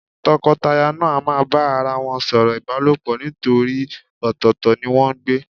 Tọkọtaya náà a máa bá ara wọn sọ̀rọ̀ ìbálòpọ̀ nítorí ọ̀tọ̀ọ̀tọ̀ ni wọ́n ń gbé.